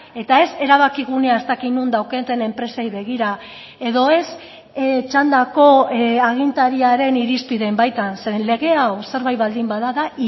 eta ez erabakigunea ez dakit non daukaten enpresei begira edo ez txandako agintariaren irizpideen baitan zeren lege hau zerbait baldin bada da